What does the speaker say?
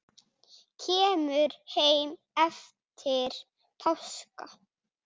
Kemur heim eftir páska.